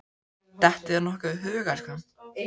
Dettur þér nokkuð í hug, elskan?